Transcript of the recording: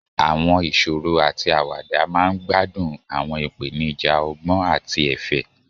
Àwọn ìṣòro àti àwàdà máa ń gbádùn àwọn ìpèníjà ọgbọ́n àti ẹ̀fẹ̀.